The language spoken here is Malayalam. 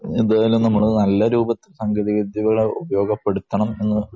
എന്തായാലും നമ്മള് നല്ല രൂപത്തില്‍ സാങ്കേതിക വിദ്യയെ ഉപയോഗപ്പെടുത്തണം എന്ന്